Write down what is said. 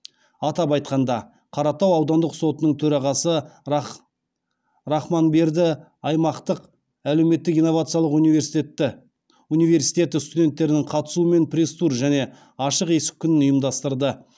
атап айтқанда қаратау аудандық сотының төрағасы рахманберді аймақтық әлеуметтік инновациялық университеті студенттерінің қатысуымен пресс тур және ашық есік күнін ұйымдастырды